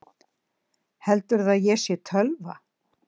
Heldurðu að ég sé tölva?